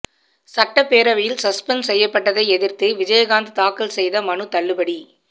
சட்டப்பேரவையில் சஸ்பெண்ட் செய்யப்பட்டதை எதிர்த்து விஜயகாந்த் தாக்கல் செய்த மனு தள்ளுபடி